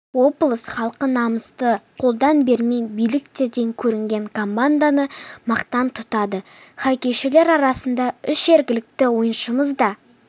облыс халқы намысты қолдан бермей биіктерден көрінген команданы мақтан тұтады хоккейшілер арасында үш жергілікті ойыншымыз да